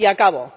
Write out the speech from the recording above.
Y acabo.